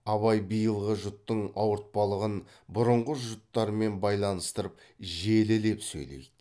абай биылғы жұттың ауыртпалығын бұрынғы жұттармен байланыстырып желілеп сөйлейді